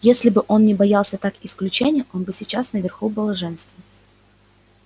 если бы он не боялся так исключения он был бы сейчас наверху блаженства